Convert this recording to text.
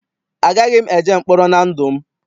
Agaghị m eje mkpọrọ na ndụ m.